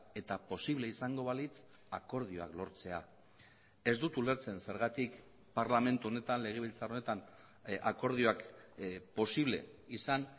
eta posible izango balitz akordioak lortzea ez dut ulertzen zergatik parlamentu honetan legebiltzar honetan akordioak posible izan